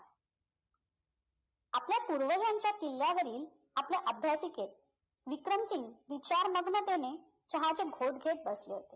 आपल्या पूर्वजांच्या किल्ल्यावरील आपल्या अभ्यासिकेत विक्रम सिंघ विचारमग्नतेने चहा चे घोट घेत बसले होते